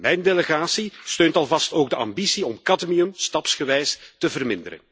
Mijn delegatie steunt alvast ook de ambitie om cadmium stapsgewijs te verminderen.